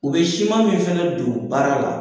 U bɛ siman min fana don baara la.